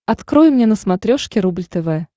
открой мне на смотрешке рубль тв